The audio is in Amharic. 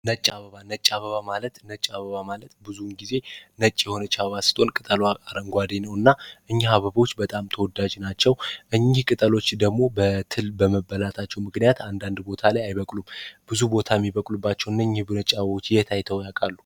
ነጭ አበባ ነጭ አበባ ማለት የሆነች አበባ ስትሆን ቅጠል በአረንጓዴ ነውና እኛ አበቦች ተወዳጅ ናቸው እኚህ አበባዎች ደግሞ በትል በምበላታቸው ብዙ ቦታ ላይ አይበቅሉም ብዙ ቦታ የሚበቅሉባቸው እነዚህ ነጭ አበባዎች የት አይተው ያውቃል?